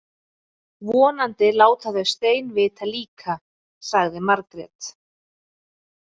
Vonandi láta þau Stein vita líka, sagði Margrét.